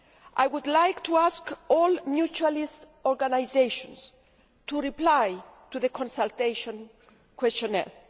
I would like to ask all mutualist organisations to reply to the consultation questionnaire.